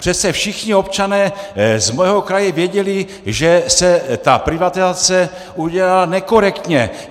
Přece všichni občané z mého kraje věděli, že se ta privatizace udělala nekorektně.